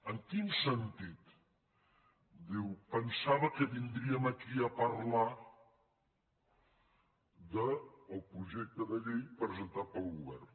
en quin sentit diu pensava que vindríem aquí a parlar del projecte de llei presentat pel govern